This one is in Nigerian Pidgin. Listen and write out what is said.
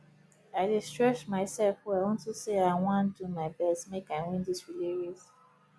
i dey stretch myself well unto say i wan do my best make i win dis relay race